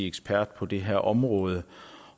ekspert på det her område